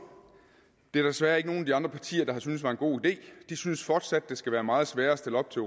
der desværre ikke nogen af de andre partier der synes er en god idé de synes fortsat at det skal være meget sværere at stille op til